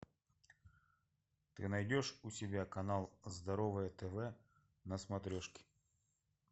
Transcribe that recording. ты найдешь у себя канал здоровое тв на смотрешке